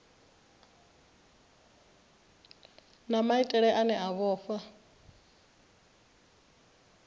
na maitele ane a vhofha